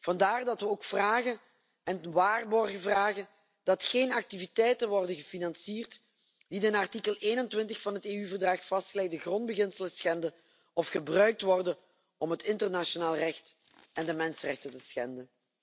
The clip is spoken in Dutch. Vandaar dat we ook de waarborgen vragen dat er geen activiteiten worden gefinancierd die de in artikel 21 van het EU verdrag vastgelegde grondbeginselen schenden of gebruikt worden om het internationaal recht en de mensenrechten te schenden.